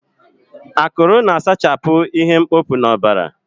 Akụrụ na-asachapụ ihe mkpofu n'ọbara.